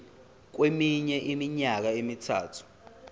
kweminye iminyaka emithathu